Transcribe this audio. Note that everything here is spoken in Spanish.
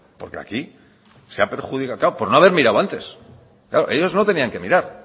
porque aquí se ha perjudicado claro por no haber mirado antes claro ellos no tenían que mirar